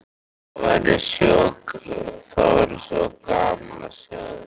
Það væri svo gaman að sjá þig.